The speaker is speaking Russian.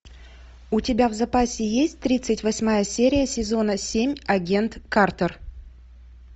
у тебя в запасе есть тридцать восьмая серия сезона семь агент картер